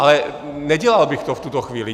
Ale nedělal bych to v tuto chvíli.